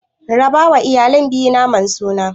Rabawa iyalan biyu naman sunan.